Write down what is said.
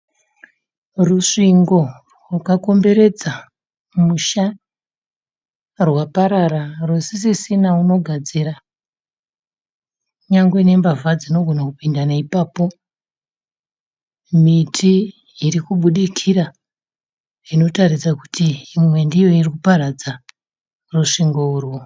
Rusvingo rwakakomberedza musha rwaparara rusisisina unogadzira. Nyangwe ne mbavha dzinogona kupinda naipapo. Miti irikubudikira inotaridza kuti imwe ndiyo irikuparadza rusvingo urwu.